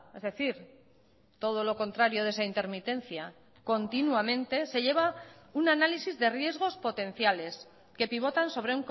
es decir todo lo contrario de esa intermitencia continuamente se lleva un análisis de riesgos potenciales que pivotan sobre